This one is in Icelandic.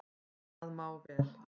En það má vel,